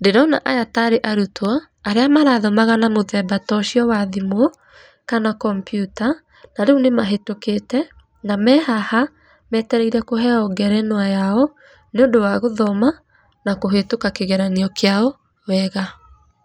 ndĩrona aya tarĩ arutwo arĩa marathomaga na mũthemba ta ũcio wa thimũ kana kompiuta na rĩu nĩ mahĩtũkĩte na me haha metereire kũheo ngerenwa yao, nĩ ũndũ wa gũthoma na kũhĩtũka kĩgeranio kĩao wega.